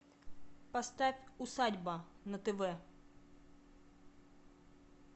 поставь усадьба на тв